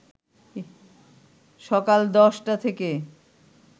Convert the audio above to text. সকাল ১০টা থেকে